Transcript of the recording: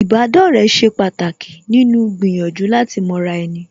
Ìbádọ́rẹ̀ẹ́ ṣe pàtàkì nínú gbìyànjú láti mọra ẹni